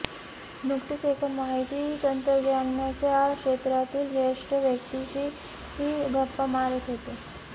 नुकतेच एका माहिती तंत्रज्ञानाच्या क्षेत्रातील ज्येष्ठ व्यक्तीशी गप्पा मारत होतो